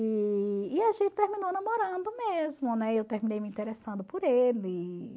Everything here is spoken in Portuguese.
E e a gente terminou namorando mesmo, eu terminei me interessando por ele.